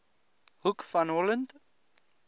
hoek van holland